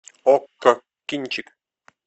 окко кинчик